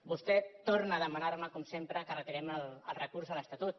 vostè torna a demanar me com sempre que retirem el recurs a l’estatut